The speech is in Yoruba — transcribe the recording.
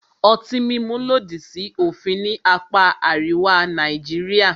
Ọtí mímu lòdì sí òfin ní apá àríwá Nàìjíríà.